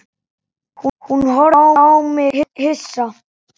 Hún horfði á mig hissa.